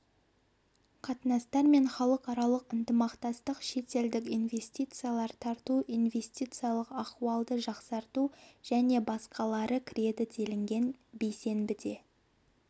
қатынастар мен халықаралық ынтымақтастық шетелдік инвестициялар тарту инвестициялық ахуалды жақсарту және басқалары кіреді делінген бейсенбіде